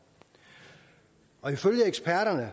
og ifølge eksperterne